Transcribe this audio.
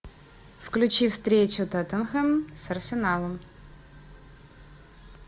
включи встречу тоттенхэм с арсеналом